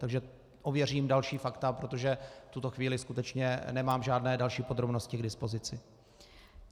Takže ověřím další fakta, protože v tuto chvíli skutečně nemám žádné další podrobnosti k dispozici.